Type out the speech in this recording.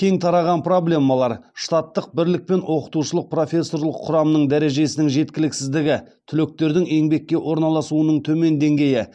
кең тараған проблемалар штаттық бірлік пен оқытушылық профессорлық құрамның дәрежесінің жеткіліксіздігі түлектердің еңбекке орналасуының төмен деңгейі